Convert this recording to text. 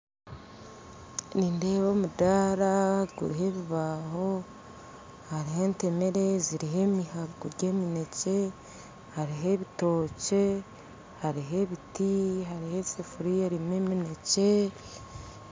Nindeeba omudaara guriho ebibaho hariho entemere ziriho emihago gya eminekye hariho ebitokye, hariho ebiti, hariho esefuriya erimu eminekye